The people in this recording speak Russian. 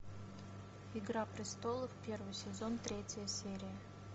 игра престолов первый сезон третья серия